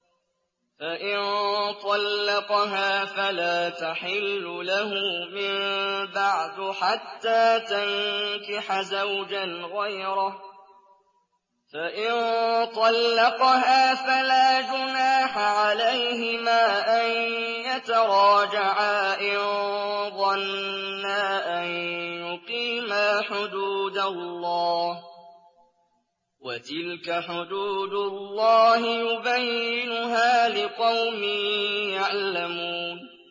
فَإِن طَلَّقَهَا فَلَا تَحِلُّ لَهُ مِن بَعْدُ حَتَّىٰ تَنكِحَ زَوْجًا غَيْرَهُ ۗ فَإِن طَلَّقَهَا فَلَا جُنَاحَ عَلَيْهِمَا أَن يَتَرَاجَعَا إِن ظَنَّا أَن يُقِيمَا حُدُودَ اللَّهِ ۗ وَتِلْكَ حُدُودُ اللَّهِ يُبَيِّنُهَا لِقَوْمٍ يَعْلَمُونَ